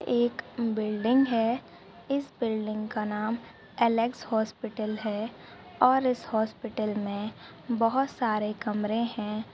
एक बिल्डिंग है। इस बिल्डिंग का नाम एलेक्स हॉस्पिटल है और इस हॉस्पिटल मे बहुत सारे कमरे है।